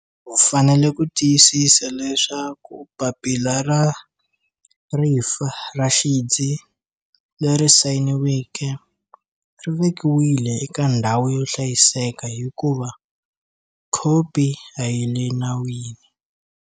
U fanele ku tiyisisa leswaku papila ra rifa ra xidzi leri sayiniweke ri vekiwile eka ndhawu yo hlayiseka, hikuva khopi a yi le nawini.